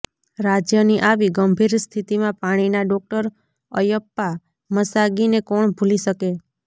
રાજ્યની આવી ગંભીર સ્થિતિમાં પાણીના ડોક્ટર અયપ્પા મસાગીને કોણ ભૂલી શકે